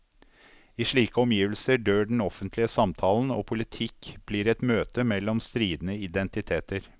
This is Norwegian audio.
I slike omgivelser dør den offentlige samtalen, og politikk blir et møte mellom stridende identiteter.